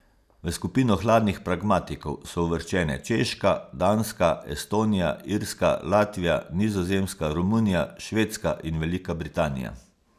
V skupino hladnih pragmatikov so uvrščene Češka, Danska, Estonija, Irska, Latvija, Nizozemska, Romunija, Švedska in Velika Britanija.